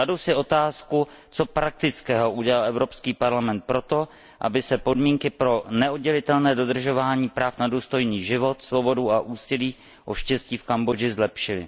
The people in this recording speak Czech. Kladu si otázku, co praktického udělal Evropský parlament pro to, aby se podmínky pro neoddělitelné dodržování práv na důstojný život, svobodu a úsilí o štěstí v Kambodži zlepšily?